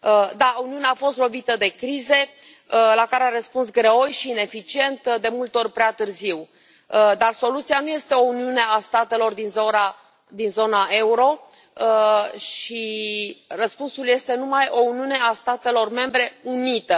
Da, Uniunea a fost lovită de crize la care a răspuns greoi și ineficient, de multe ori prea târziu, dar soluția nu este o uniune a statelor din zona euro și răspunsul este numai o uniune a statelor membre unită.